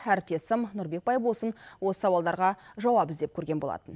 әріптесім нұрбек байбосын осы сауалдарға жауап іздеп көрген болатын